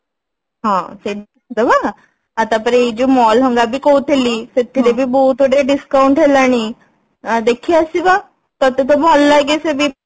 ହଁ ସେଇଠି ଦେଖିଦବା ଆଉ ତାପରେ ଏଇ ଯୋଉ mall ହେକା ବି କହୁଥିଲି ସେଥିରେ ବି ବହୁତ ଗୁଡା discount ହେଲାଣି ଆଁ ଦେଖି ଆସିବା ତତେ ତ ଭଲ ଲାଗେ